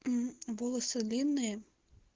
волосы длинные